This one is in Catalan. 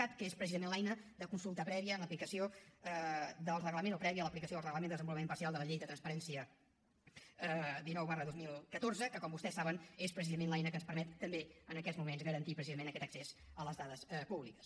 cat que és precisament l’eina de consulta prèvia en l’aplicació del reglament o prèvia a l’aplicació del reglament de desenvolupament parcial de la llei de transparència dinou dos mil catorze que com vostès saben és precisament l’eina que ens permet també en aquests moments garantir precisament aquest accés a les dades públiques